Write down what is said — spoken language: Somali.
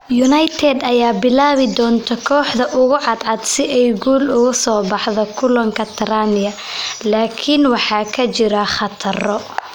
United ayaa bilaabi doonta kooxda ugu cadcad si ay guul uga soo baxdo kulanka Tranmere, laakiin waxaa jira khataro.